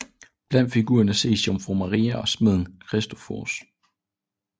Blandt figurerne ses jomfru Maria og smeden Christoforus